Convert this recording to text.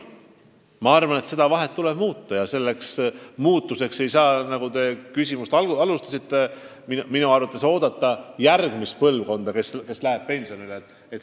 Ma arvan, et seda vahet tuleb muuta ja sellega ei saa, nagu te oma küsimust esitades ka ütlesite, oodata, kuni järgmine põlvkond läheb pensionile.